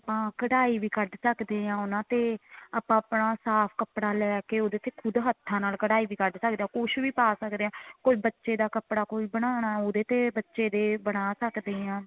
ਆਪਾਂ ਕਢਾਈ ਵੀ ਕੱਢ ਸਕਦੇ ਹਾਂ ਉਹਨਾ ਤੇ ਆਪਾਂ ਆਪਣਾ ਸਾਫ਼ ਕੱਪੜਾ ਲੈਕੇ ਉਹਦੇ ਤੇ ਖੁਦ ਹੱਥਾਂ ਨਾਲ ਕਢਾਈ ਵੀ ਕੱਢ ਸਕਦੇ ਹਾਂ ਕੁੱਝ ਵੀ ਪਾ ਸਕਦੇ ਹਾਂ ਕੋਈ ਬੱਚੇ ਦਾ ਕੱਪੜਾ ਕੋਈ ਬਨਾਣਾ ਉਹਦੇ ਤੇ ਬੱਚੇ ਦੇ ਬਣਾ ਸਕਦੇ ਹਾਂ